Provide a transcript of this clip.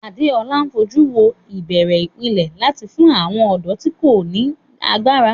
Adeola fojú inú wo ìbẹ̀rẹ̀ ìpìlẹ̀ láti fún àwọn ọ̀dọ́ tí kò ní ní agbára.